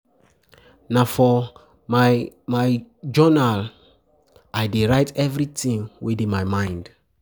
Na for my my jounal I dey write everytin wey dey my mind.